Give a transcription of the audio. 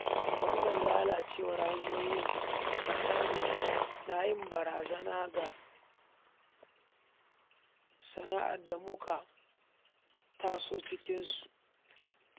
Wannan lalacewar hanyoyi a ƙasar nan na yin barazana ga sana'ar da muka taso cikinta